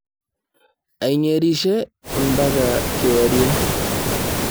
Aigerishe ampaka kewarie.